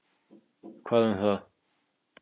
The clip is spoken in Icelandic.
Hvað um það?